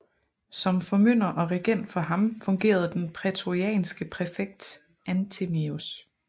Som formynder og regent for ham fungerede den prætorianske præfekt Anthemius